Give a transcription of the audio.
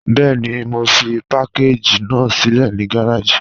Bẹẹ̀ni, mo fi pàkàgí ná silẹ̀ ni gàràjì.